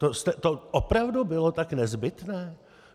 To opravdu bylo tak nezbytné?